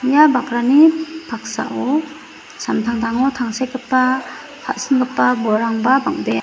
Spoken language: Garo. ia bakrani paksao samtangtango tangsekgipa ka·singipa bolrangba bang·bea.